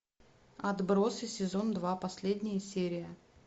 отбросы сезон два последняя серия